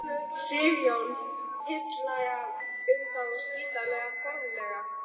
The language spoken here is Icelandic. Sigurjón: Tillaga um það að slíta formlega?